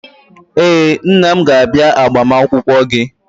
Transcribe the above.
Ee, nna m ga-abịa agbamakwụkwọ gị.